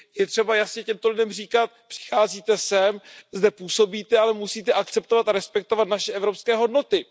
Je třeba jasně těmto lidem říkat Přicházíte sem, zde působíte, ale musíte akceptovat a respektovat naše evropské hodnoty.